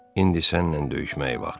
İndi səninlə döyüşməyin vaxtıdır.